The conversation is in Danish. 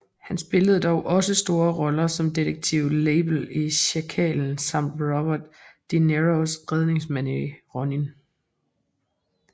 Han spillede dog også store roller som detektiven Lebel i Sjakalen samt Robert de Niros redningsmand i Ronin